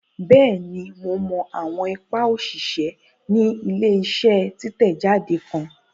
Bẹẹni, Mo awọn ipa oṣiṣẹ ní ile-iṣẹ titẹjade kan